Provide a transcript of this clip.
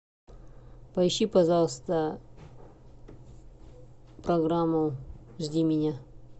поищи пожалуйста программу жди меня